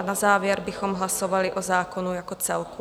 A na závěr bychom hlasovali o zákonu jako celku.